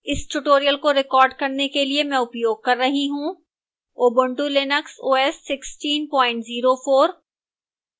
इस tutorial को record करने के लिए मैं उपयोग कर रही हूं: ubuntu linux os 1604